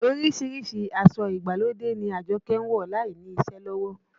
Orísìírísìí aṣọ ìgbàlódé ni Àjọkẹ́ ń wọ̀ láìní iṣẹ́ lọ́wọ́